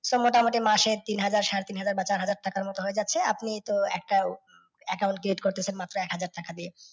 So মোটামুটি মাসে তিনহাজার, সাড়ে তিনহাজার টাকার মতো হয়ে যাচ্ছে, আপনি তো একটা account create করতেছেন মাত্র একহাজার টাকা দিয়ে।